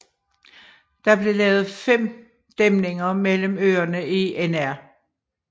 Der blev lavet fem dæmninger mellem øerne i Nr